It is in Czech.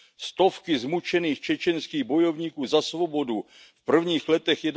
Stovky zmučených čečenských bojovníků za svobodu v prvních letech